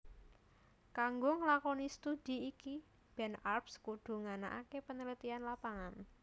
Kanggo nglakoni studhi iki Ben Arps kudu nganakaké penelitian lapangan